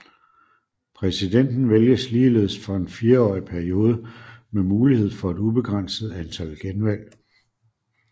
Præsidenten vælges ligeledes for en fireårig periode med mulighed for et ubegrænset antal genvalg